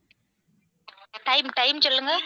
time time சொல்லுங்க.